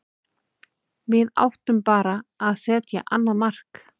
Við áttum bara að setja annað mark.